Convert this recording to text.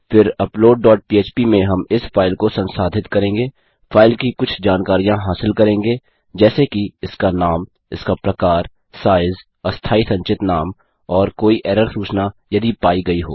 फिर upload dot php में हम इस फाइल को संसाधित करेंगे फाइल की कुछ जानकारियाँ हासिल करेंगे जैसे कि इसका नाम इसका प्रकार साइज़ अस्थायी संचित नाम और कोई एरर सूचना यदि पाई गयी हो